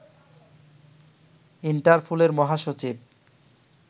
ইন্টারপোলের মহাসচিব